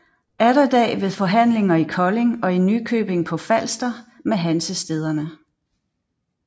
Atterdag ved forhandlinger i Kolding og i Nykøbing på Falster med Hansestæderne